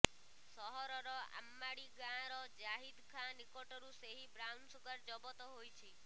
ସହରର ଆମ୍ମାଡି ଗାଁର ଜାହିଦ ଖାଁ ନିକଟରୁ ଏହି ବ୍ରାଉନସୁଗାର ଜବତ ହୋଇଛି